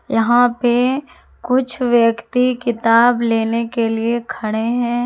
यहां पे कुछ व्यक्ति किताब लेने के लिए खड़े हैं।